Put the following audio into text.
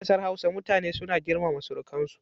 A ƙasar Hausa, mutane suna girmama surukansu.